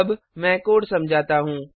अब मैं कोड़ समझाता हूँ